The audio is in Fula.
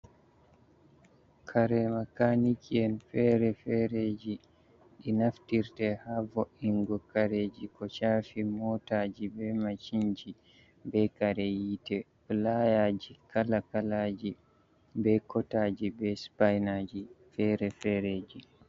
Kare makaniki'en fere-fereji ɗi naftirte ha vo'ingo kareji ko chafi motaji, be machinji, be kare yite. Filayaji kala- kalaji, be kotaji, be sipainaji fere-fereji.